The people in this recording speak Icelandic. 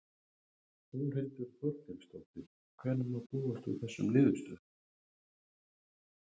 Þórhildur Þorkelsdóttir: Hvenær má búast við þessum niðurstöðum?